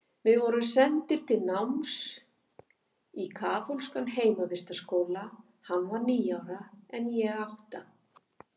Við vorum sendir til náms í kaþólskan heimavistarskóla, hann var níu ára en ég átta.